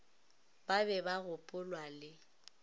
ba be ba gopolwa le